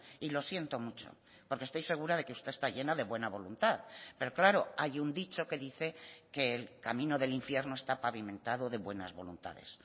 y lo siento mucho porque estoy segura de que usted está llena de buena voluntad pero claro hay un dicho que dice que el camino del infierno está pavimentado de buenas voluntades